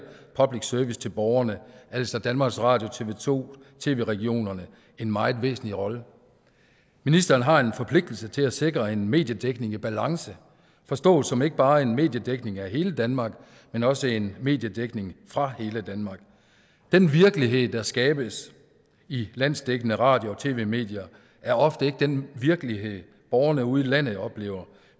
public service til borgerne altså danmarks radio tv to tv regionerne en meget væsentlig rolle ministeren har en forpligtelse til at sikre en mediedækning i balance forstået som ikke bare en mediedækning af hele danmark men også en mediedækning fra hele danmark den virkelighed der skabes i landsdækkende radio og tv medier er ofte ikke den virkelighed borgerne ude i landet oplever